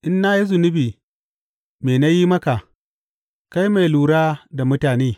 In na yi zunubi, me na yi maka, kai mai lura da mutane?